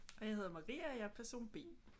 Og jeg hedder Marie og jeg er person B